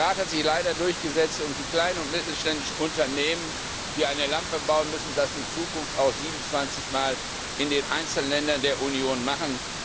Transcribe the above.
Der Rat hat sich leider durchgesetzt und die kleinen und mittelständischen Unternehmen, die eine Lampe bauen, müssen das in Zukunft auch 27 mal in den einzelnen Ländern der Union machen.